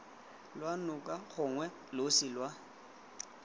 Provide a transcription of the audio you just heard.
lwa noka gongwe losi lwa